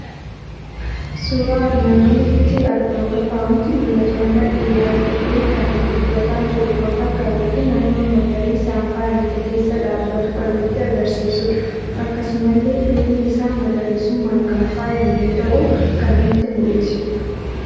Suuraa armaan olitti argamu irraa waanti mul'atu; nama dhiira ta'e kan dubbataa jiru kan fakkaatufi naannoo magariisan faayamtee keessa dhaabbatu kan nutti agarsiisudha. Akkanumallee Duubni isaa magariisummaan kan faayamte ta'uu kan nutti mul'isudha.